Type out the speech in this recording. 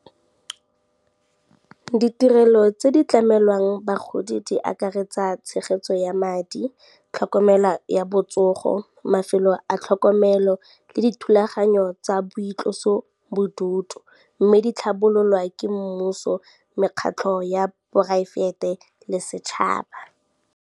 Ditirelo tse di tlamelwang bagodi di akaretsa tshegetso ya madi, tlhokomela ya botsogo, mafelo a tlhokomelo le dithulaganyo tsa boitloso bodutu, mme di tlhabololwa ke mmuso, mekgatlho ya poraefete le setšhaba.